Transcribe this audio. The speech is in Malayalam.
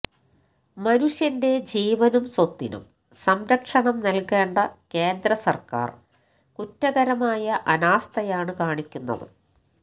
മനുഷ്യന്റെ ജീവനും സ്വത്തിനും സംരക്ഷണം നല്കേണ്ട കേന്ദ്ര സര്ക്കാര് കുറ്റകരമായ അനാസ്ഥയാണ് കാണിക്കുന്നത്